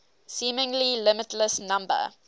seemingly limitless number